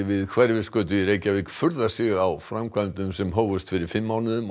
við Hverfisgötu í Reykjavík furðar sig á því framkvæmdum sem hófust fyrir fimm mánuðum